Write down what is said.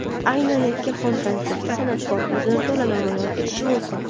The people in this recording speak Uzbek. Aynan yakkaxon konsertida san’atkor o‘zini to‘la namoyon etishi mumkin.